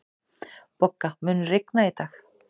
Bogga, mun rigna í dag?